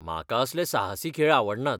म्हाका असले साहसी खेळ आवडनात.